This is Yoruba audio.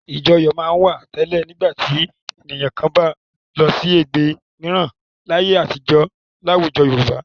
Ìjọyọ̀ máa ń wà tẹ́lẹ̀ nígbà tí ẹnìkan bá ń lọ sí ẹgbẹ́ mìíràn láyé àtijọ́ láwùjọ Yorùbá.